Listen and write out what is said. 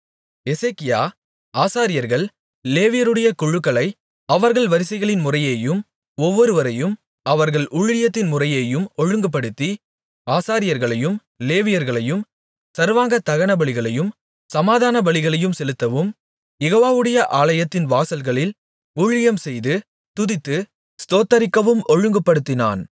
எசேக்கியா ஆசாரியர்கள் லேவியருடைய குழுக்களை அவர்கள் வரிசைகளின்முறையேயும் ஒவ்வொருவரையும் அவர்கள் ஊழியத்தின்முறையேயும் ஒழுங்குபடுத்தி ஆசாரியர்களையும் லேவியர்களையும் சர்வாங்க தகனபலிகளையும் சமாதானபலிகளையும் செலுத்தவும் யெகோவாவுடைய ஆலயத்தின் வாசல்களில் ஊழியம்செய்து துதித்து ஸ்தோத்திரிக்கவும் ஒழுங்குபடுத்தினான்